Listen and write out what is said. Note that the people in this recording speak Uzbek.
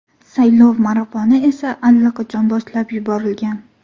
Saylov marafoni esa allaqachon boshlab yuborilgan.